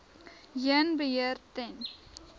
heen beheer ten